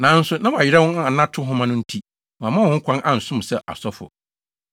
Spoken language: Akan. Nanso, na wɔayera wɔn anato nhoma no nti wɔmma wɔn ho kwan ansom sɛ asɔfo.